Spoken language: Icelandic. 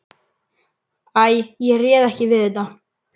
Æ, ég réð ekki við þetta.